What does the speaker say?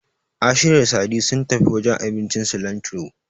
Ashiru da Sadi sun tafi wajen abincin Silantiro.